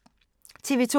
TV 2